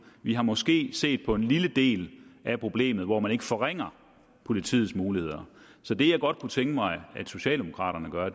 vi har måske set på en lille del af problemet hvor man ikke forringer politiets muligheder så det jeg godt kunne tænke mig socialdemokraterne gør